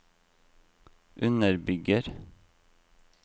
underbygger